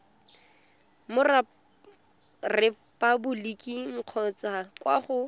mo repaboliking kgotsa kwa go